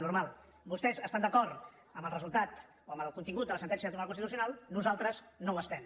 normal vostès estan d’acord amb el resultat o amb el contingut de la sentència del tribunal constitucional nosaltres no ho estem